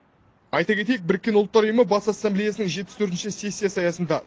айта кетейік біріккен ұлттар ұйымы бас ассамблеясының жетпіс төртінші сессиясы аясында